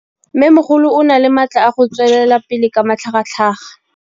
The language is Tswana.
Mmêmogolo o na le matla a go tswelela pele ka matlhagatlhaga.